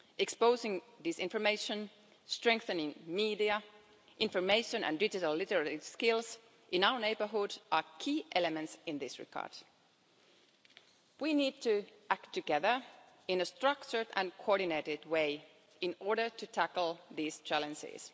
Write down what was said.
Exposing disinformation and strengthening media, information and digital literacy skills in our neighbourhood are key elements in this regard. We need to act together in a structured and coordinated way in order to tackle these challenges.